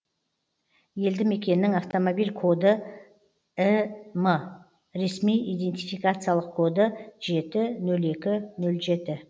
елді мекеннің автомобиль коды ім ресми идентификациялық коды жеті нөл екі нөл жеті